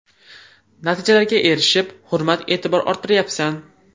Natijalarga erishib, hurmat-e’tibor orttiryapsan.